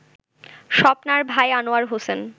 স্বপ্নার ভাই আনোয়ার হোসেন